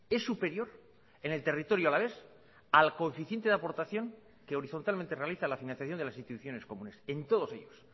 es superior en el territorio alavés al coeficiente de aportación que horizontalmente realiza la financiación de las instituciones comunes en todos ellos